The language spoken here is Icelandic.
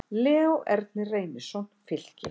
Leó Ernir Reynisson, Fylki